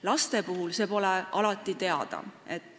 Laste puhul pole see alati teada.